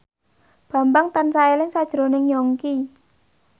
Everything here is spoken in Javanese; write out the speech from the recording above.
Bambang tansah eling sakjroning Yongki